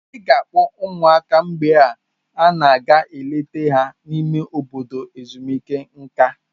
Ị ga-akpọta ụmụaka mgbe ị na-aga ileta ya n'ime obodo ezumike nká?